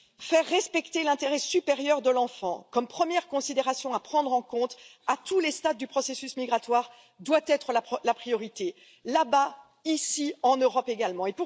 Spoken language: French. Faire respecter l'intérêt supérieur de l'enfant, comme première considération à prendre en compte à tous les stades du processus migratoire, doit être la priorité là bas, ici en Europe également.